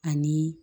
Ani